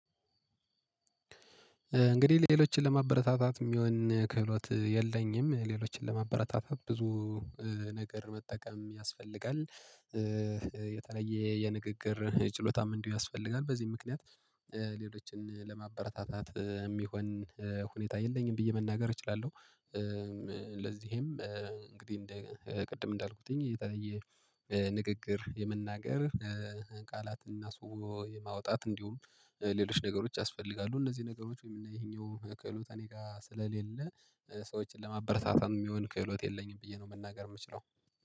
እንግዲህ ሌሎችን ለማበረታታት የሚሆን ክህሎት የለኝም፣ ሌሎችን ለማበረታታት ብዙ ነገር መጠቀም ያስፈልጋል። የተለየ የንግግር ጭሎታም እንዲሁ ያስፈልጋል በዚህ ምክንያት ሌሎችን ለማበረታታት የሚሆን ሁኔታ የለኝም ብዬ መናገር እችላለሁ። ለዚህም እንግዲህ ቅድም እንዳልኩትኝ ንግግር የመናገር ቃላትና ስውር የማውጣት እንዲሁም ሌሎች ነገሮች ያስፈልጋሉ፤ እነዚህ ነገሮች ወይም ይሄኛው ከህሎት እኔ ጋር ስለሌለ ሰዎችን ለማበረታታም የሚሆን ከህሎት የለኝም ብዬ ነው መናገር የምችለው።